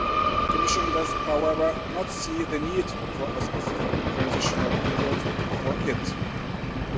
The Commission does not, however, see the need for a specific transitional period for this.